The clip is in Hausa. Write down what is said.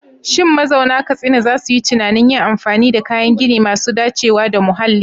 Shin mazauna Katsina za su yi tunanin yin amfani da kayan gini masu dacewa da muhalli?